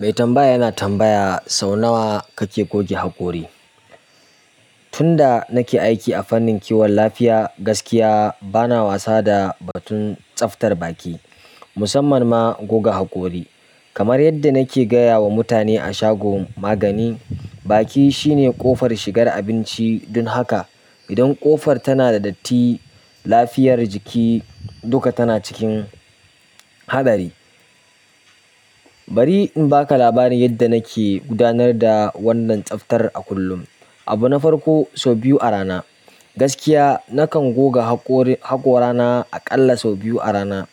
Mai tambaya yana tambaya sau nawa kake goge hakori. Tunda nake aiki a fannin kiwon lafiya, gaskiya bana wasa da batun tsaftar baki, musamman ma goga hakori. Kamar yadda nake gaya wa mutane a shagon magani, baki shine ƙofar shigar abinci. Don haka idan ƙofar tana da datti, lafiyar jiki duka tana cikin haɗari. Bari in baka labarin yanda nake gudanar da wannan tsabtar a kullum. Abu na farko, sau biyu a rana. Gaskiya nakan goga haƙori haƙora na a ƙalla sau biyu a rana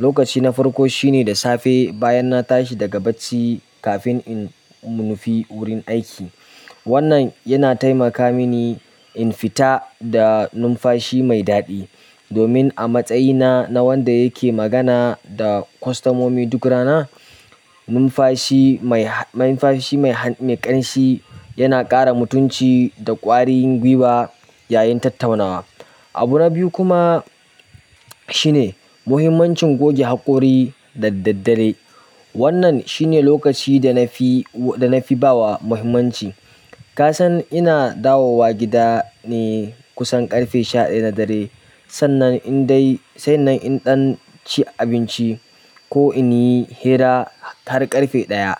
lokaci na farko shine da safe bayan na tashi daga bacci kafin in nufi wurin aiki. Wannan yana taimaka mini in fita da numfashi mai daɗi. Domin a matsayina na wanda yake magana da kwastamomi duk rana numfashi ma han numfashi mai han mai ƙanshi yana ƙara mutunci da ƙwarin gwiwa yayin tattaunawa abu na biyu kuma shine muhimmanci goge haƙori da daddare wannan shine lokaci da nafi wa da nafi bawa muhimmanci kasan ina dawo wa gidane kusan ƙarfe sha ɗaya na dare sannan in dai sannan in ɗan ci abinci ko in yi hira har ƙarfe ɗaya.